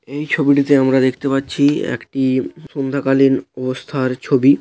এই ছবিটিতে আমরা দেখতে পাচ্ছি একটি-ই সন্ধ্যা কালীন অবস্থার ছবি--